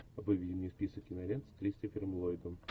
выведи мне список кинолент с кристофером ллойдом